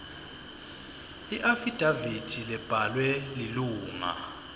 iafidavithi lebhalwe lilunga